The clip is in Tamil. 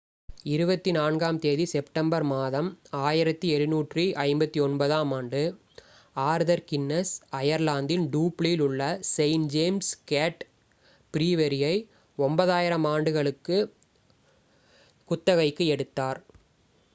24 ஆம்தேதி செப்டம்பர் மாதம் 1759 ஆம் ஆண்டு ஆர்தர் கின்னஸ் அயர்லாந்தின் டூப்ளியில் உள்ள செயின்ட் ஜேம்ஸ் கேட் ப்ரீவெரியை 9,000 ஆண்டுகளுக்கு குத்தகைக்கு எடுத்தார்